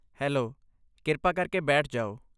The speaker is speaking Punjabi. ਹੈਲੋ, ਕਿਰਪਾ ਕਰਕੇ ਬੈਠ ਜਾਓ।